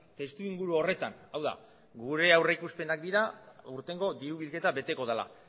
testuinguru horretan hau da gure aurrikuspenak dira aurtengo dirubilketa beteko dela